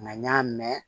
Nka n y'a mɛn